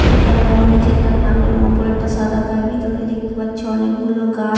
যেটার রং নিচেরটা কালো এবং ওপর টা সাদা তার ভিতরে দেখতে পাচ্ছে অনেকগুলো গাছ।